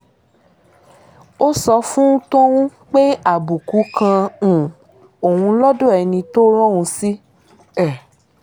ó sọ fún tọ̀hún pé àbùkù kan um òun lọ́dọ̀ ẹni tó rán òun sí um